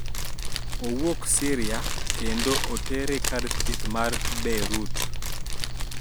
Owuok Syria kendo otere kar thieth ma Beirut